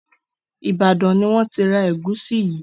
Ibadan ní wón tí rá egusi yí